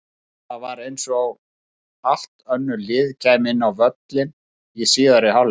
En það var eins og allt önnur lið kæmu út á völlinn í síðari hálfleik.